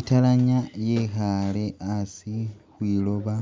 Italanyi yekhaale hasi khwiloba